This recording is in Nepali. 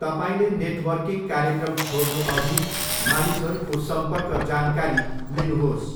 तपाईँले नेटवर्किङ कार्यक्रम छोड्नुअघि मानिसहरूको सम्पर्क जानकारी लिनुहोस्।